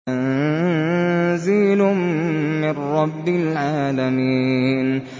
تَنزِيلٌ مِّن رَّبِّ الْعَالَمِينَ